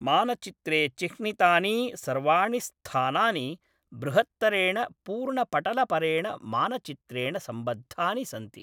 मानचित्रे चिह्नितानि सर्वाणि स्थानानि बृहत्तरेण पूर्णपटलपरेण मानचित्रेण सम्बद्धानि सन्ति।